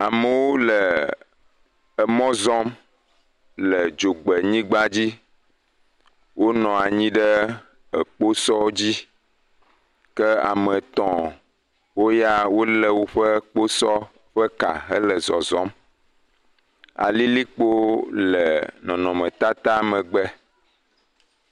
Amewo le emɔ zɔm le dzogbe nyigba dzi wonɔ anyi ɖe ekposɔ dzi ke ame etɔ̃ woya wole woƒe kposɔ ƒe ka hele zɔzɔm, alilikpo le nɔnɔmetata megbe.